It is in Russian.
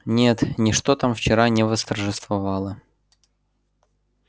нет ничто там вчера не восторжествовало